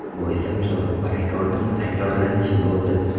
Bu esa musobaqa rekordining takrorlanishi bo‘ldi.